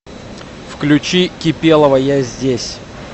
включи кипелова я здесь